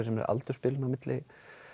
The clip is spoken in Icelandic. sér aldursbilinu á milli